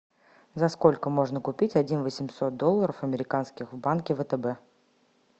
за сколько можно купить один восемьсот долларов американских в банке втб